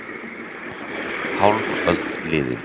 Hálf öld liðin